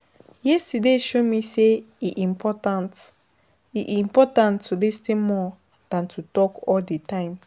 Yesterday show me say e important e important to lis ten more than to talk all di time.